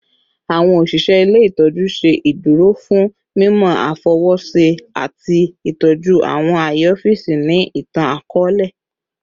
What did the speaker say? Awọn oṣiṣẹ ile-itọju jẹ iduro fun mimọ afọwọṣe ati itọju awọn aye ọfiisi ni itan-akọọlẹ